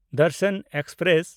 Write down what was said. Darshan express